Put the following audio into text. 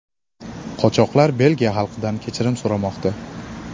Qochoqlar Belgiya xalqidan kechirim so‘ramoqda.